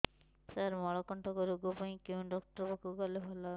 ସାର ମଳକଣ୍ଟକ ରୋଗ ପାଇଁ କେଉଁ ଡକ୍ଟର ପାଖକୁ ଗଲେ ଭଲ ହେବ